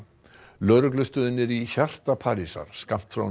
lögreglustöðin er í hjarta Parísar skammt frá